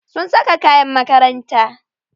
Sun saka kayan makaranta.